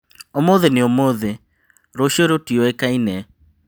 Ũmũthĩ nĩ ũmũthĩ rũcio rũtioĩkaine.